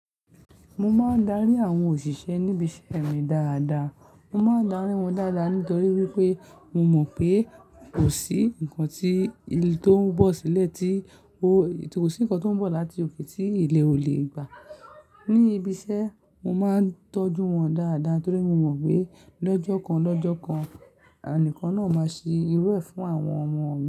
Mo máa ń darí àwọn òṣìṣẹ́ níbi iṣẹ́ mi dáadáa. Mo máa darí wọn dáadáa nítorí wípé mo mọ̀ pé kò sí ǹkan tí tó ń bọ̀ sílẹ̀ tí kò sí ǹkan tó ń bọ̀ láti òkè tí ilẹ̀ ò lè gbà. Ní ibi iṣẹ́, mo máa ń tọ́jú wọn dáadáa torí mo mọ̀ pé lọ́jọ́ kan lọ́jọ́ kan, ẹnìkan náà máa ṣe irú ẹ fún àwọn ọmọ.